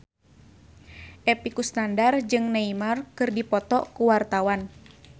Epy Kusnandar jeung Neymar keur dipoto ku wartawan